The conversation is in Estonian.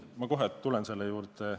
Ma kohe tulen selle juurde.